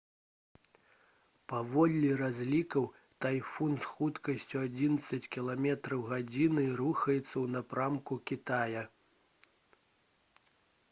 паводле разлікаў тайфун з хуткасцю адзінаццаць км/г рухаецца ў напрамку кітая